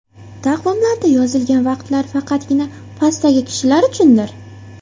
Taqvimlarda yozilgan vaqtlar faqatgina pastdagi kishilar uchundir.